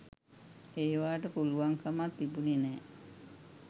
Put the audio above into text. ඒවාට පුළුවන්කමක් තිබුණෙ නෑ